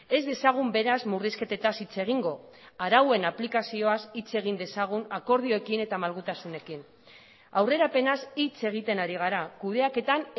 ez dezagun beraz murrizketetaz hitz egingo arauen aplikazioaz hitz egin dezagun akordioekin eta malgutasunekin aurrerapenaz hitz egiten ari gara kudeaketan